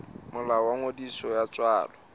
molao wa ngodiso ya tswalo